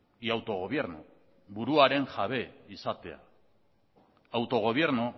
y autogobierno buruaren jabe izatea autogobierno